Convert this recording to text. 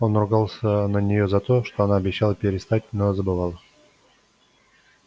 он ругался на нее за это она обещала перестать но забывала